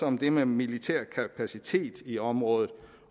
om det med militær kapacitet i området